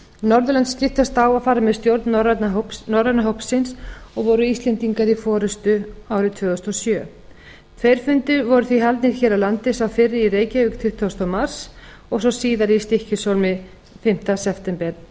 norðurlönd skiptast á að fara með stjórn norræna hópsins og voru íslendingar í forustu árið tvö þúsund og sjö tveir fundir voru því haldnir hér á landi sá fyrri í reykjavík tuttugasta mars og sá síðari í stykkishólmi fimmta september